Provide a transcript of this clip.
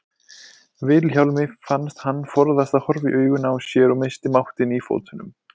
Vilhjálmi fannst hann forðast að horfa í augun á sér og missti máttinn í fótunum.